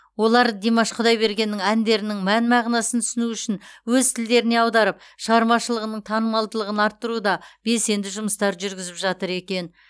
олар димаш құдайбергеннің әндерінің мән мағынасын түсіну үшін өз тілдеріне аударып шығармашылығының танымалдығын арттыруда белсенді жұмыстар жүргізіп жатыр екен